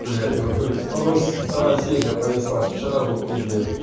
бля это в натуре второй вторая серия понеслась вчера был в пиздец